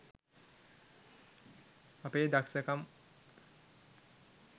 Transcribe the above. අපේ දක්සකම්